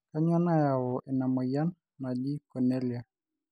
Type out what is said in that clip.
kanyio nayau ina moyian naji conelia